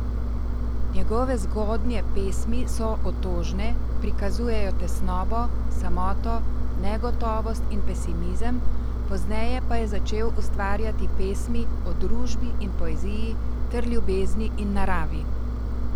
Njegove zgodnje pesmi so otožne, prikazujejo tesnobo, samoto, negotovost in pesimizem, pozneje pa je začel ustvarjati pesmi o družbi in poeziji ter ljubezni in naravi.